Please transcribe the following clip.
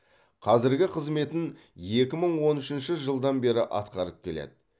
қазіргі қызметін екі мың он үшінші жылдан бері атқарып келеді